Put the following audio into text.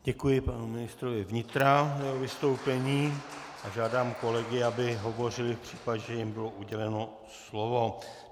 Děkuji panu ministrovi vnitra za jeho vystoupení a žádám kolegy, aby hovořili v případě, že jim bylo uděleno slovo.